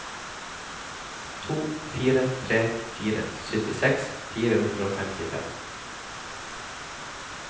to fire tre fire syttiseks fire hundre og femtifem